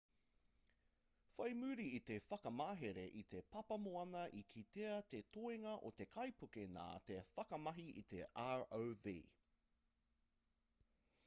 whai muri i te whakamahere i te papamoana i kitea te toenga o te kaipuke nā te whakamahi i te rov